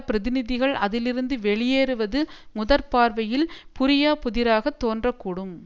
பிரதிநிதிகள் அதிலிருந்து வெளியேறுவது முதற்பார்வையில் புரியாப்புதிராக தோன்றக் கூடும்